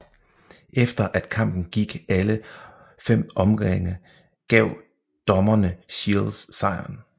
Efter at kampen gik alle 5 omgange gav dommerne Shields sejren